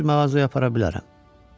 Mən sizi mağazaya apara bilərəm.